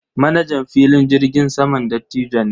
Manajan filin jirgin saman dattijo ne.